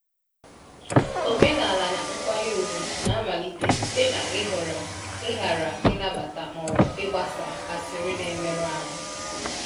Omenaala nkwanye ùgwù na-amalite site n’ịhọrọ ịghara ịnabata ma ọ bụ ịgbasa asịrị na-emerụ ahụ.